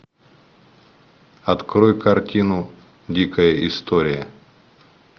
открой картину дикая история